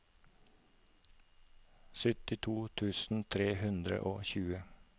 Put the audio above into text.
syttito tusen tre hundre og tjue